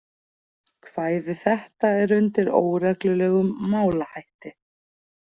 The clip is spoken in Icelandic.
Kvæði þetta er undir óreglulegum málahætti.